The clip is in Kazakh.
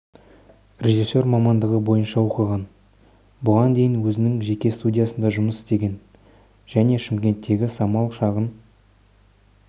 режиссер мамандығы бойынша оқыған бұған дейін өзінің жеке студиясында жұмыс істеген және шымкенттегі самал шағын